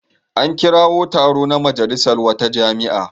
An kirawo taro na majalisar wata jami'a.